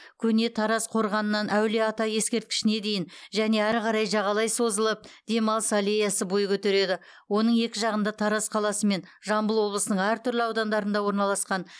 көне тараз қорғанынан әулие ата ескерткішіне дейін және әрі қарай жағалай созылып демалыс аллеясы бой көтереді оның екі жағында тараз қаласы мен жамбыл облысының әртүрлі аудандарында орналасқан